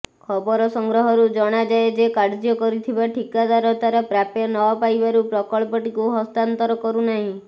ଖବର ସଂଗ୍ରହରୁ ଜଣାଯାଏ ଯେ କାର୍ଯ୍ୟ କରିଥିବା ଠିକାଦାର ତାର ପ୍ରାପ୍ୟ ନ ପାଇବାରୁ ପ୍ରକଳ୍ପଟିକୁ ହସ୍ତାନ୍ତର କରୁନାହିଁ